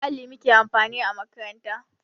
Da alli muke amfani a makaranta